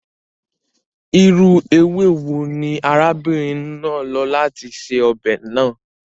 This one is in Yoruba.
Irú ewé wo ni arábìnrin náà lò láti se ọbẹ̀ náà?